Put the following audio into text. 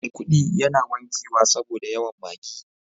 maikudi yana wankewa saboda yawan Maggi.